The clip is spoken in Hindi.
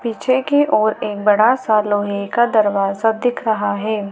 पीछे की ओर एक बड़ा सा लोहे का दरवाजा दिख रहा है।